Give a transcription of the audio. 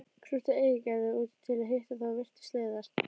Krúttið eigraði út til að hitta þá og virtist leiðast.